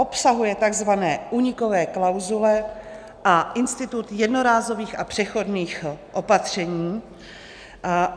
Obsahuje takzvané únikové klauzule a institut jednorázových a přechodných opatření.